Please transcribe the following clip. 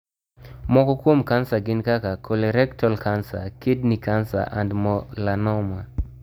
Moko kuom kansa gin kaka, colorectal cancer, kidney cancer and melanoma.